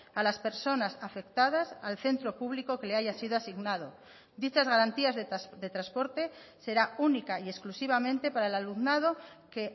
a las personas afectadas al centro público que le haya sido asignado dichas garantías de transporte será única y exclusivamente para el alumnado que